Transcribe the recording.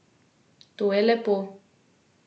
To je lepo!